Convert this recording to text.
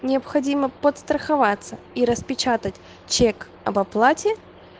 необходимо подстраховаться и распечатать чек об оплате